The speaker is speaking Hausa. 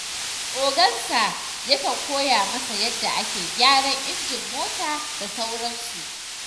Ogansa yakan koya masa yadda ake gyara injin mota da sauransu.